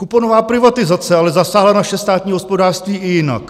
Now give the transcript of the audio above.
Kuponová privatizace ale zasáhla naše státní hospodářství i jinak.